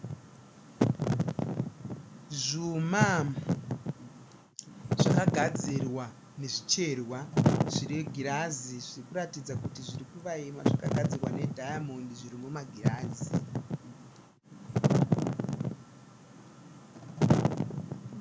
Zvuma zvakagadzirwa nezvicherwa zvine girazi zviri kuratidza kuti zviri kuvayima. Zvakagadzirwa nedayamondi. Zviri mumagirazi.